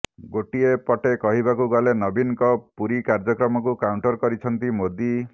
ଗୋଟିଏ ପଟେ କହିବାକୁ ଗଲେ ନବୀନଙ୍କ ପୁରୀ କାର୍ଯ୍ୟକ୍ରମକୁ କାଉଣ୍ଟର କରିଛନ୍ତି ମୋଦି